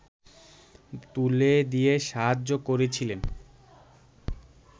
তুলে দিয়ে সাহায্য করেছিলেন